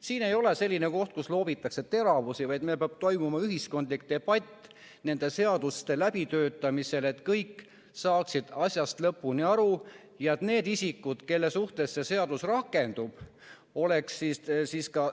Siin ei ole selline koht, kus loobitakse teravusi, vaid meil peab toimuma ühiskondlik debatt nende seaduste läbitöötamisel, et kõik saaksid asjast lõpuni aru ja need isikud, kelle suhtes seadus rakendub, oleksid ka